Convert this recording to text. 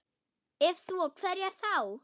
Ef svo, hverjar þá?